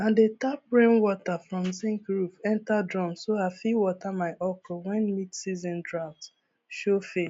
i dey tap rainwater from zinc roof enter drum so i fit water my okro when midseason drought show face